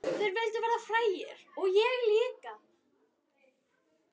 Þeir vildu verða frægir og ég líka.